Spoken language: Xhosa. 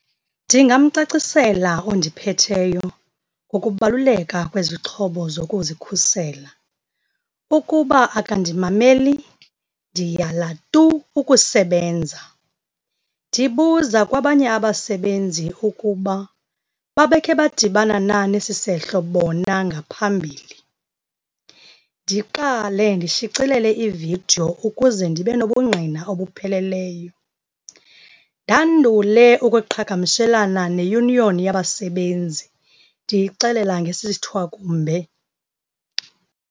Ndingamcacisela ondiphetheyo ngokubaluleka kwezixhobo zokuzikhusela. Ukuba akandimameli ndiyala tu ukusebenza. Ndibuza kwabanye abasebenzi ukuba babekhe badibana na nesisehlo bona ngaphambili. Ndiqale ndishicilele ividiyo ukuze ndibe nobungqina obupheleleyo. Ndandule ukweqhagamshelana neyuniyoni yabasebenzi, ndiyixelela ngesithwakumbe.